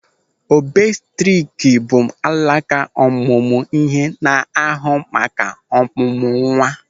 Obsetrik bụ alaka ọmụmụ ihe na-ahụ maka ọ̀mụ̀mụ̀ nwa.